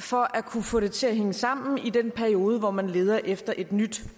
for at kunne få det til at hænge sammen i den periode hvor man leder efter et nyt